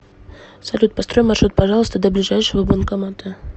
салют построй маршрут пожалуйста до ближайшего банкомата